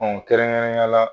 kɛrɛnkɛrɛnyala